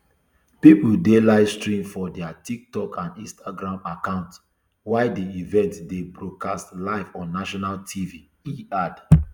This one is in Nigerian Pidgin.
pipo dey livestream for dia tiktok and instagram accounts while di events dey broadcast live on national tv e add